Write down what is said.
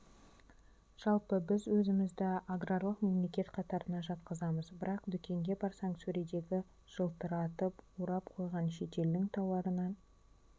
жалпы біз өзімізді аграрлық мемлекет қатарына жатқызамыз бірақ дүкенге барсаң сөредегі жылтыратып орап қойған шетелдің тауарынан